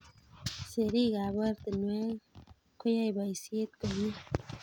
Serikap oratinwek koyai boisiet komie